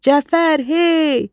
Cəfər, hey!